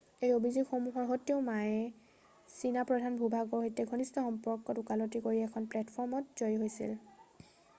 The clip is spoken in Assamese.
এই অভিযোগসমূহৰ সত্ত্বেও মায়ে চীনা প্ৰধান ভূ-ভাগৰ সৈতে ঘনিষ্ঠ সম্বন্ধক ওকালতি কৰি এখন প্লেটফৰ্মত জয়ী হৈছিল৷